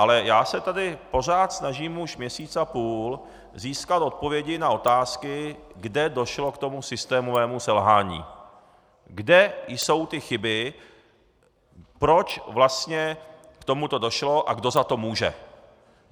Ale já se tady pořád snažím už měsíc a půl získat odpovědi na otázky, kde došlo k tomu systémovému selhání, kde jsou ty chyby, proč vlastně k tomuto došlo a kdo za to může.